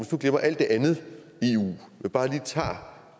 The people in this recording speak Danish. nu glemmer alt det andet i eu men bare lige tager